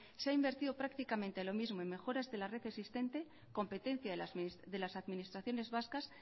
se ha invertido prácticamente lo mismo en mejoras de la red existente competencia de las administraciones vascas